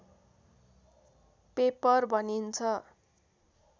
paper भनिन्छ